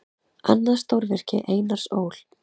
Annað stórvirki Einars Ól.